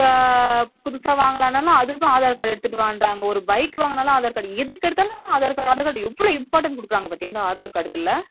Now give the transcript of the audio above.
புதுசா வாங்கனாலும் அதுக்கு aadhar card எடுத்துட்டு வாங்கன்றாங்க ஒரு bike வாங்கனாலும் aadhar card எதுக்கு எடுத்தாலும் aadhar card, aadhar card எவ்ளோ importance குடுக்குறாங்க பாத்தியா அந்த aadhar card க்குல